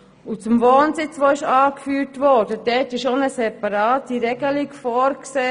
Zum Wohnsitz, der angeführt wurde: Dort ist eine separate Regelung vorgesehen.